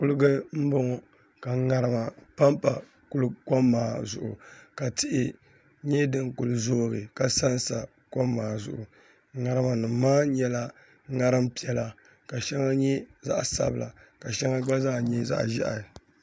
Kuliga n boŋo ka ŋarima panpa kom maa zuɣu ka tihi nyɛ din kuli zoogi ka sansa kom maa zuɣu ŋarima nim maa nyɛla ŋarim piɛla ka shɛŋa nyɛ zaɣ sabila ka shɛŋa gba zaa nyɛ zaɣ ʒiɛhi